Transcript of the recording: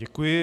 Děkuji.